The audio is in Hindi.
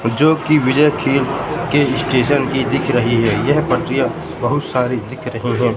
जो की विजय खीर के स्टेशन की दिख रही है यह पटरियाँ बहोत सारी दिख रही हैं।